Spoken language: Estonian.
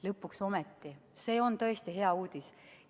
Lõpuks ometi, see on tõesti hea uudis.